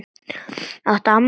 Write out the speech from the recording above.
Áttu afmæli?